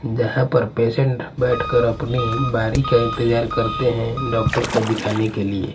जहां पर पेशेंट बैठकर अपनी बारी का इंतजार करते हैं डॉक्टर को दिखाने के लिए.